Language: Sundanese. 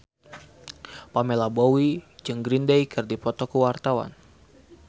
Pamela Bowie jeung Green Day keur dipoto ku wartawan